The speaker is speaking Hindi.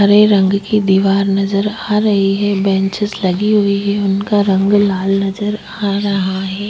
हरे रंग की दीवार नजर आ रही है बेंचेस लगी हुई है उनका रंग लाल नजर आ रहा है।